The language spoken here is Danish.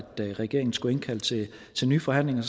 regeringen skulle indkalde til til nye forhandlinger